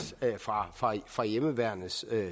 fra fra hjemmeværnets